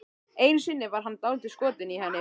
Einu sinni var hann dálítið skotinn í henni.